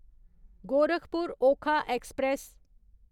Gorakhpur Okha express